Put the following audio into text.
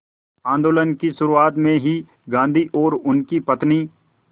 आंदोलन की शुरुआत में ही गांधी और उनकी पत्नी